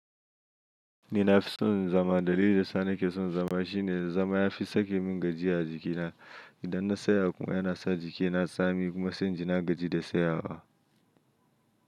Ni na fi son zama. Dalilin da ya sa ni ke son zama shine zama ya fi sake min gajiya a jikina. Idan na tsaya kuma yana sa jikina tsami kuma sai in ji na gaji da tsayawa.